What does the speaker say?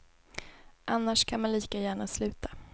Annars kan man lika gärna sluta.